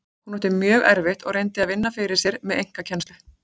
Hún átti mjög erfitt og reyndi að vinna fyrir sér með einkakennslu.